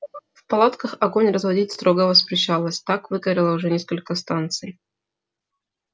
в палатках огонь разводить строго воспрещалось так выгорело уже несколько станций